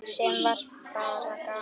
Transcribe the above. Sem var bara gaman.